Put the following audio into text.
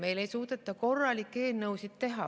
Meil ei suudeta korralikke eelnõusid teha.